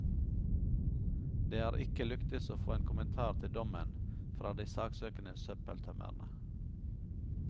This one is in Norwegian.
Det har ikke lyktes å få en kommentar til dommen, fra de saksøkende søppeltømmerne.